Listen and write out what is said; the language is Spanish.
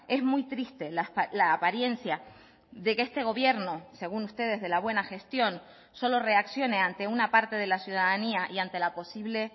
es muy triste la apariencia de que este gobierno según ustedes de la buena gestión solo reaccione ante una parte de la ciudadanía y ante la posible